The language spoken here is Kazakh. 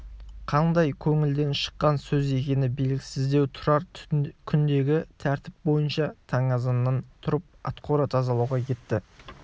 қандай көңілден шыққан сөз екені белгісіздеу тұрар күндегі тәртіп бойынша таң азаннан тұрып атқора тазалауға кетті